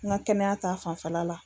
N ka kɛnɛya ta fanfɛla la